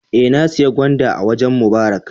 Eh, na siya gwandan a wajen Mubarak